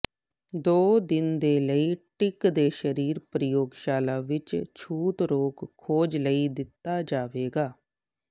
ਦੋ ਦਿਨ ਦੇ ਲਈ ਟਿੱਕ ਦੇ ਸਰੀਰ ਪ੍ਰਯੋਗਸ਼ਾਲਾ ਵਿਚ ਛੂਤ ਰੋਗ ਖੋਜ ਲਈ ਦਿੱਤਾ ਜਾਵੇਗਾ